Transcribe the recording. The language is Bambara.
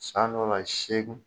San dɔw la segin